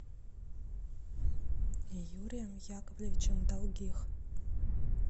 юрием яковлевичем долгих